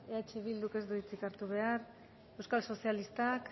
eh bilduk ez du hitzik hartu behar euskal sozialistak